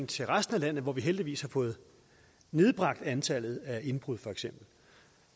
til resten af landet hvor vi heldigvis har fået nedbragt antallet af indbrud feks